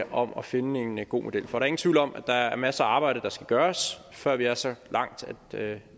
om at finde en god model for ingen tvivl om at der er masser af arbejde der skal gøres før vi er så langt at